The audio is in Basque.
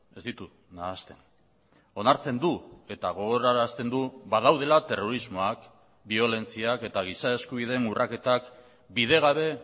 ez ditu nahasten onartzen du eta gogorarazten du badaudela terrorismoak biolentziak eta giza eskubideen urraketak bidegabe